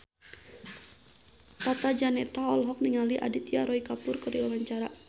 Tata Janeta olohok ningali Aditya Roy Kapoor keur diwawancara